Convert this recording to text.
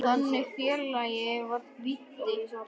Þannig félagi var Viddi.